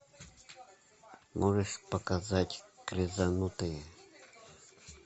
можешь показать крезанутые